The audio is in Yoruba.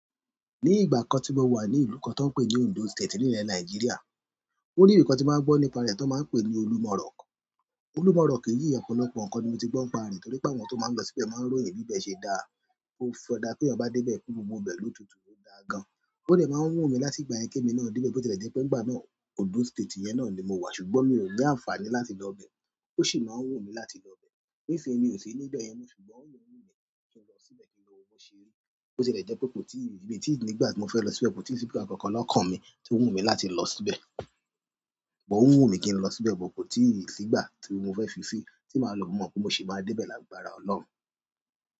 Ní ìgbà kan tí mo wà ní ìlú kan tó ń pè ní Ondo State nílẹ̀ Nàìjíríà, o ní ì ibi kan tí mo màá gbọ́ nípa rẹ̀ tón máa ń pe ní Olúmọ̀ rock. Olúmọ̀ rock yìí ọ̀pọ̀lọpọ̀ ǹkan ni mo ti gbọ́ ń pa rẹ̀ torí pé àwọn tí ó máa ń lọ síbẹ̀ máa ń ròyìn bí bẹ ṣe dáa, pe ọ̀ kọjá-- tí eyan bá dé bẹ́ẹ̀ pe gbogbo ibẹ̀ ló tutù ló dáa gan. Ó dẹ̀ máa ń wú mi láti ìgbà yẹn kí emi náà dé ibe bó ti lẹ̀ jẹ́ pé nìgbà náà Ondo State yẹn náà ni mo wà ṣùgbọ́n mi ò ní àǹfààní láti lọ bẹ́ẹ̀. Ó sì máa ń wú mi láti lọ bẹ́ẹ̀. Níṣin mi ò sí níbẹ̀ yẹn mo ṣùgbọ́n ó ń wú mí ní kí n lọ síbẹ̀ kí n wo bó ṣe rí. Bo ti lẹ̀ jẹ́ pé kò tí ì rí-- mi í tí ì nígbà tí mo fẹ́ lọ síbẹ̀ kò tí ì sí gba kankan lọ kàn mi tí ó wú mi láti lọ síbẹ̀. But o wú mi kí n lọ síbẹ̀ but kò tí ì sígbà tí mo fẹ́ fi sí tí màá lọ mọ̀ pé mo sì máa dé bẹ́ẹ̀ lágbára Ọlọ́run.